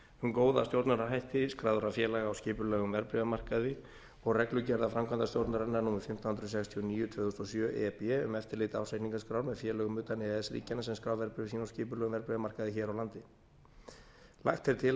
góða stjórnunarhætti skráðra félaga á skipulegum verðbréfamarkaði og reglugerðar framkvæmdastjórnarinnar númer fimmtán hundruð sextíu og níu tvö þúsund og sjö e b um eftirlit ársreikningaskrár með félögum utan e e s ríkjanna sem skrá verðbréf sín á skipulegum verðbréfamarkaði hér á landi lagt er til að